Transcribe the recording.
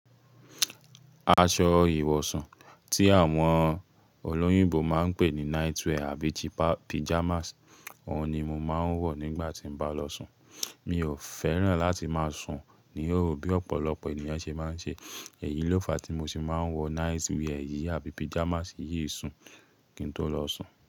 Aṣọ ìwọ̀sun tí àwọn olóyìnbó máa ń pè ní night wear àbí pyjamas, òun ni mo máa ń wọ̀ nígbà tí mo bá lọ sùn. Mi ò fẹ́ràn láti máa sùn níhòho bí ọ̀pọ̀lọpọ̀ ènìyàn ṣe máa ń ṣe. Èyí ló fa tí mo ṣe máa ń wọ night wear yìí àbí pajamas yìí sùn kí n tó lọ sùn.